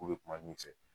K'u bɛ kuma min fɛ